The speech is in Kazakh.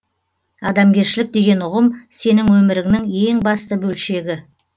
адамгершілік деген ұғым сенің өміріңнің ең басты бөлшегі